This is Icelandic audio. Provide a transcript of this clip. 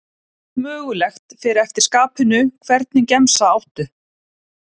Allt mögulegt, fer eftir skapinu Hvernig gemsa áttu?